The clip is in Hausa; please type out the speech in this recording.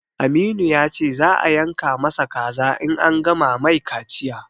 Aminu ya ce za a yanka ma sa kaza in an gama mai kaciya